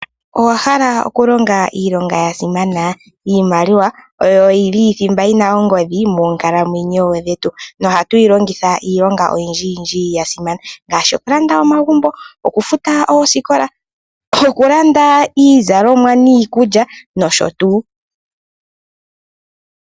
Owahala okulonga iilonga yasimana? Iimaliwa oyo yili thimba yina ongodhi monkalamwenyo dhetu nohatu yilongitha iilonga oyindji yindji yasimana ngaashi, okulanda omagumbo, okufuta oosikola, okulanda iizalomwa niikulya nosho tuu.